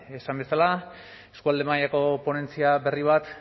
esan bezala eskualde mailako ponentzia berri bat